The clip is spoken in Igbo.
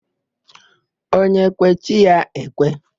Onye kwe, chi ya ekwe.